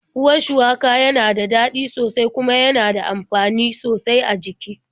Ruwan shuwaka na da ɗaci sosai kuma yana da amfani sosai a jiki.